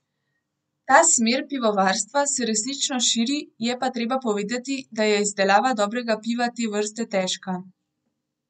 Ta smer pivovarstva se resnično širi, je pa treba povedati, da je izdelava dobrega piva te vrste težka.